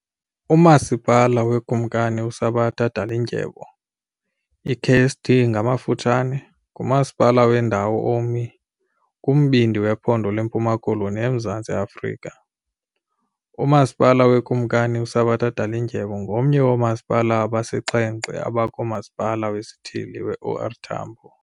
uMasipala weKumkani uSabata Dalindyebo, iKSD, ngumasipala wendawo omi kumbindi wephondo leMpuma Koloni eMzantsi Afrika. UMasipala weKumkani uSabata Dalindyebo ngomnye woomasipala abasixhenxe abakumasipala wesithili weOR Tambo.